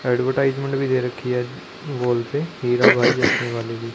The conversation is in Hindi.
एडवर्टाइजमेंट भी दे रखी है वाल पे हीरा भाई चश्मे वाले की।